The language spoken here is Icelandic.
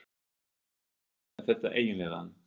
Hvernig er þetta eiginlega?